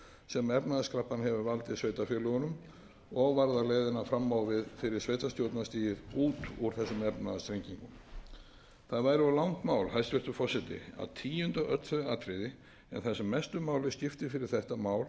sem efnahagskreppan hefur valdið sveitarfélögunum og varðar leiðina fram á við fyrir sveitarstjórnarstigið út úr þessum efnahagsþrengingum það væri of langt mál hæstvirtur forseti að tíunda öll þau atriði en það sem mestu máli skiptir fyrir þetta mál sem hér er